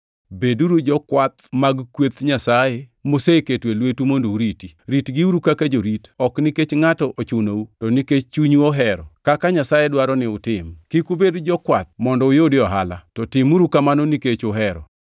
Beduru jokwath mag kweth Nyasaye moseketo e lwetu mondo uriti. Ritgiuru kaka jorit, ok nikech ngʼato ochunou, to nikech chunyu ohero, kaka Nyasaye dwaro ni utim. Kik ubed jokwath mondo uyudie ohala, to timuru kamano nikech uhero.